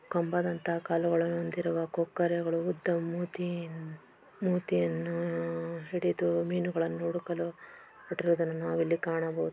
ಕಂಬದಂತ ಕಾಲುಗಳನ್ನು ಹೊಂದಿರುವ ಕೊಕ್ಕರೆಗಳು ಉದ್ದ ಮೂತಿ-ಮೂತಿಯನ್ನು ಹಿಡಿದು ಮೀನುಗಳನ್ನು ಹುಡುಕಲು ಹೊರಟಿರುವುದನ್ನು ನಾವು ಇಲ್ಲಿ ಕಾಣಬಹುದು.